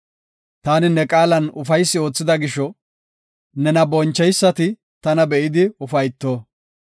Taani ne qaalan ufaysi oothida gisho, nena boncheysati tana be7idi ufayto.